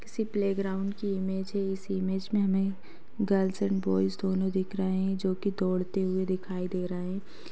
किसी playground की इमेज है इस इमेज मे हमे गर्ल्स एंड बॉय्ज़ दोनों दिख रहे है जो कि दौड़ते हुए दिखाई दे रहे है।